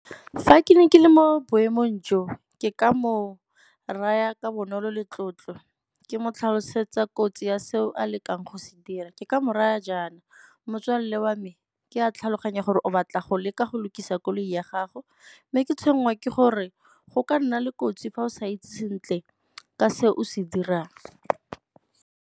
Fa ke ne ke le mo boemong jo, ke ka mo raya ka bonolo le tlotlo ke mo tlhalosetsa kotsi ya seo a lekang go se dira. Ke ka mo raya jaana, motswalle wa me ke a tlhaloganya gore o batla go leka go lokisa koloi ya gago mme ke tshwenngwa ke gore go ka nna le kotsi fa o sa itse sentle ka se o se dirang.